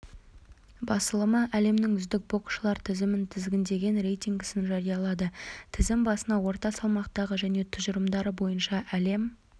басылымы әлемнің үздік боксшылар тізімін тізгіндеген рейтингісін жариялады тізім басына орта салмақтағы және тұжырымдары бойынша әлем